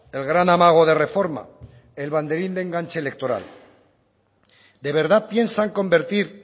el gran amago de reforma el banderín de enganche electoral de verdad piensan convertir